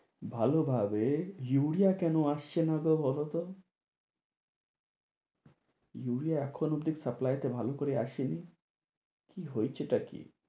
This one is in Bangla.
ভালো ভাবে ইউরিয়া কেনো আসছে না গো বলো তো? ইউরিয়া এখনো অবধি supply তে ভালো করে আসেনি কি হয়েছেটা কি?